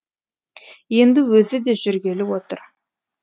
енді өзі де жүргелі отыр